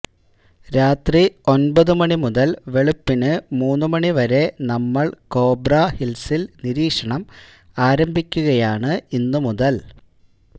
രാത്രി ഒന്പത് മണിമുതല് വെളുപ്പിന് മൂന്നുമണിവരെ നമ്മള് കോബ്രാ ഹില്സില് നിരീക്ഷണം ആരംഭിക്കുകയാണ് ഇന്നുമുതല്